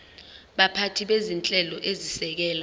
baphathi bezinhlelo ezisekela